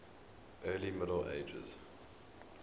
early middle ages